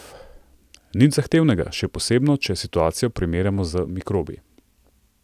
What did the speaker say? Nič zahtevnega, še posebno, če situacijo primerjamo z mikrobi.